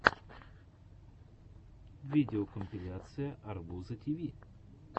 видеокомпиляция арбуза тиви